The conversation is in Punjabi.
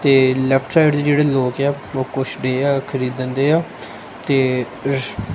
ਤੇ ਲੈਫਟ ਸਾਈਡ ਦੇ ਜੇਹੜੇ ਲੋਕ ਆ ਉਹ ਕੁੱਛ ਡਏ ਆ ਖਰੀਦਣ ਡਏ ਆ ਤੇ --